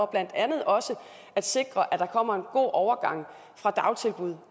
blandt andet også at sikre at der kommer en god overgang fra dagtilbud